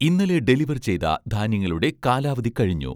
ഇന്നലെ ഡെലിവർ ചെയ്‌ത ധാന്യങ്ങളുടെ കാലാവധി കഴിഞ്ഞു